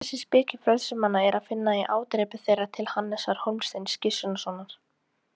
Þessa speki frelsismanna er að finna í ádrepu þeirra til Hannesar Hólmsteins Gissurarsonar.